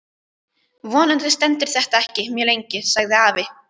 Vonandi stendur þetta ekki mjög lengi sagði afi.